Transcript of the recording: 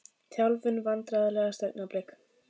Þjálfun Vandræðalegasta augnablik?